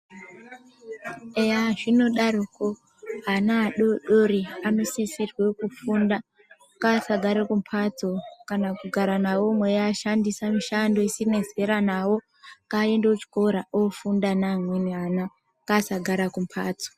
Eya zvinodaroko ana adodori anosisirwe kufunda ngaasagare kumhatso kana kugara nawo mweiashandisa mishando isina zera nawo ngaende kuchikora ofunda neamweni ana ngaasagare kumhatso .